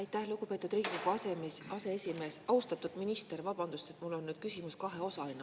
Aitäh, lugupeetud Riigikogu aseesimees, austatud minister, vabandust, mul on nüüd küsimus kaheosaline.